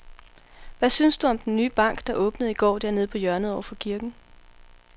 Hvad synes du om den nye bank, der åbnede i går dernede på hjørnet over for kirken?